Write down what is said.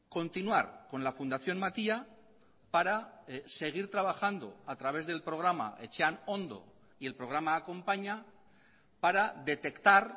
continuar con la fundación matia para seguir trabajando a través del programa etxean ondo y el programa acompaña para detectar